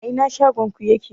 A ina shagon ku yake?